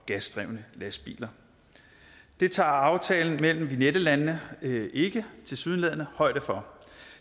gasdrevne lastbiler det tager aftalen mellem vignette landene tilsyneladende højde for